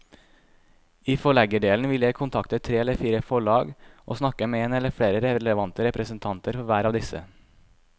I forleggerdelen vil jeg kontakte tre eller fire forlag og snakke med en eller flere relevante representanter for hver av disse.